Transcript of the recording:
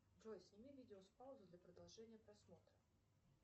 джой сними видео с паузы для продолжения просмотра